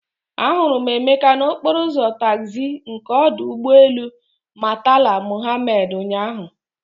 Ahụrụ m Emeka n'okporo ụzọ taxi nke ọdụ ụgbọ elu Murtala Mohammed ụnyahụ.